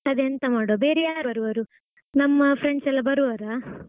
ಅದೆಂತ ಎಂತ ಮಾಡ್ವ ಬೇರೆ ಯಾರು ಬರುವರು? ನಮ್ಮ friends ಎಲ್ಲಾ ಬರುವರಾ?